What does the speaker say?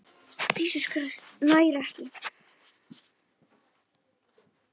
Nær ekki.